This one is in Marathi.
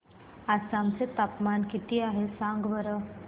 आसाम चे तापमान किती आहे सांगा बरं